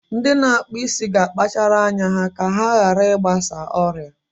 Ndị na-akpụ isi ga akpachara ma ka ha hara I gbasa ọrịa.